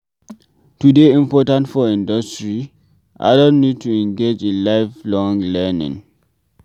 To dey imprtant for industry, adult need to engage in life long learning